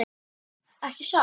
Ekki satt?